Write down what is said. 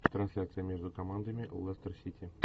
трансляция между командами лестер сити